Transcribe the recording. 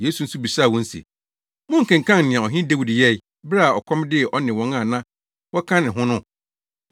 Yesu nso bisaa wɔn se, “Monkenkan nea Ɔhene Dawid yɛe, bere a ɔkɔm dee ɔne wɔn a na wɔka ne ho no?